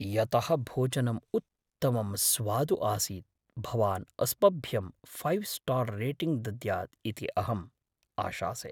यतः भोजनम् उत्तमं स्वादु आसीत्, भवान् अस्मभ्यं फैव् स्टार् रेटिङ्ग् दद्यात् इति अहम् आशासे।